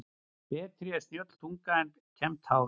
Betri er snjöll tunga en kembt hár.